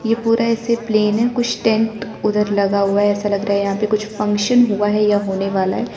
ये पूरा ऐसे प्लेन है कुछ टेंट उधर लगा हुआ ऐसा लग रहा है यहां पे कुछ फंक्शन हुआ है या होने वाला है।